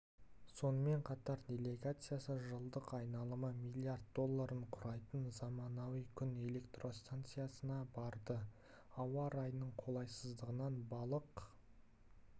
сонымен қатар делегациясы жылдық айналымы млрд долларын құрайтын заманауи күн электростанциясына барды ауа райының қолайсыздығынан балық